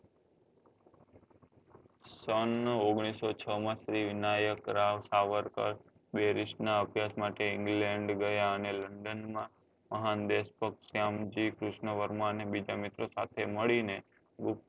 સન ઓગણીસો છ માં શ્રી વિનાયક રાવ સાવરકર berist નાં અભ્યાસ માટે england ગયા અને london માં મહાન દેશભક્ત શ્યામ જી કૃષ્ણ વર્મા ને બીજા મિત્ર સાથે મળી ને ગુપ્ત